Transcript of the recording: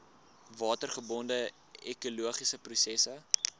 watergebonde ekologiese prosesse